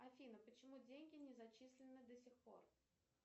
афина почему деньги не зачислены до сих пор